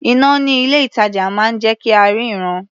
Iná ní ilé-ìtàjà máa ń jẹ́ kí a ríran.